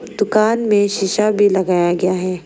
दुकान में शीशा भी लगाया गया है।